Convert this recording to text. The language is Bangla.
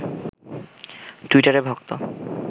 টুইটারে ভক্ত